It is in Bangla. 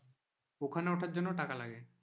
ওখানে ওঠার জন্য টাকা লাগে।